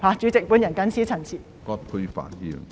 主席，我謹此陳辭。